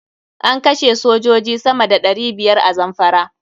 An kashe sojoji sama da ɗari biyar a Zamfara.